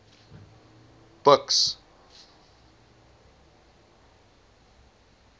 buks